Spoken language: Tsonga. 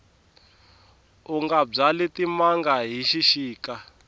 unga byali timanga hi xixika